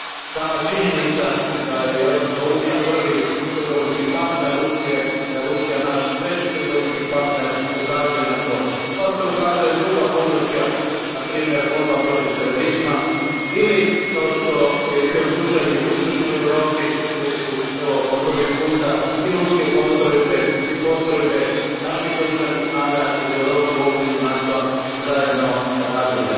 Sama činjenica da je Europska unija prvi trgovinski partner Rusije, da je Rusija naš treći trgovinski partner, ukazuje na to, kao što ukazuju i druga područja, na primjer borba protiv terorizma, ili kao što je bio slučaj u jugoistočnoj Europi, gdje su po prvi puta i ruske postrojbe i postrojbe naših oružanih snaga iz Europe u okrilju NATO a zajedno radile.